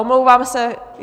Omlouvám se.